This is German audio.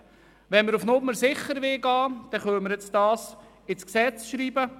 Wollen wir auf Nummer sicher gehen, so können wir den vorgeschlagenen Artikel ins Gesetz schreiben.